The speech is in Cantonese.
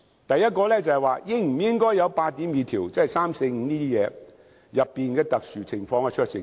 第一，應否有《條例草案》第82條，即情況三、四和五所述的特別情況的酌情權。